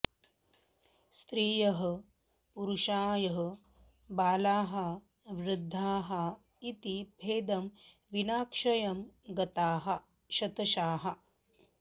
स्त्रियः पुरुषाः बालाः वृद्धाः इति भेदं विना क्षयं गताः शतशः